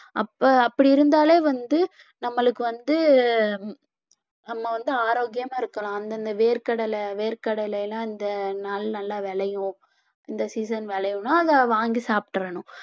அப்ப அப்படி இருந்தாலே வந்து நம்மளுக்கு வந்து நம்ம வந்து ஆரோக்கியமா இருக்கலாம் அந்தந்த வேர்க்கடலை, வேர்க்கடலை எல்லாம் இந்த நாள் நல்லா விளையும் இந்த season விளைவுன்னா அதை வாங்கி சாப்பிட்டறணும்